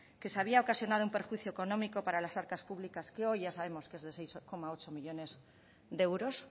que se había ocasionado un perjuicio económico para las arcas públicas que hoy ya sabemos que es de seis coma ocho millónes de euros